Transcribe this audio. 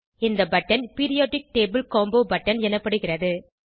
இந்த button periodic table combo button எனப்படுகிறது